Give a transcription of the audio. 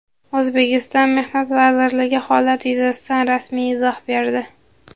O‘zbekiston Mehnat vazirligi holat yuzasidan rasmiy izoh berdi.